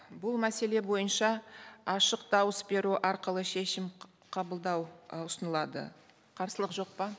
бұл мәселе бойынша ашық дауыс беру арқылы шешім қабылдау ы ұсынылады қарсылық жоқ па